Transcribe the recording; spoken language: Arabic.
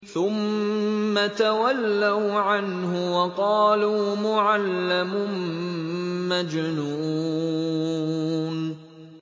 ثُمَّ تَوَلَّوْا عَنْهُ وَقَالُوا مُعَلَّمٌ مَّجْنُونٌ